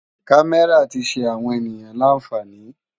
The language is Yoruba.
Kàmèrá ti ṣé áwòn éniyàn lànfáni